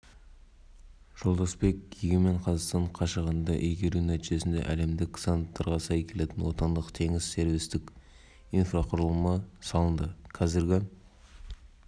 шлюмберже сименс энерджи вуд групп сайпем секілді халықаралық компаниялар өз білімдері технологиялары және тәжірибелерімен кірген жуық бірлескен компаниялар әріптестіктер құрылды